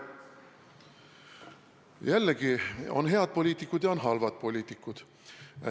Jällegi, on head poliitikud ja on halvad poliitikud.